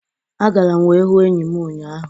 Agara m wee hụ enyi m ụnyaahụ.